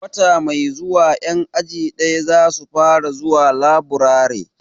Wata mai zuwa 'yan aji daya za su fara zuwa laburare.